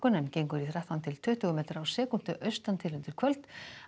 en gengur í þrettán til tuttugu metra á sekúndu austan til undir kvöld